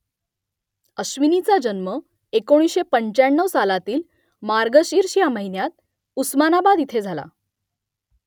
अश्विनीचा जन्म एकोणीसशे पंचाण्णव सालातील मार्गशीर्ष ह्या महिन्यात उस्मानाबाद इथे झाला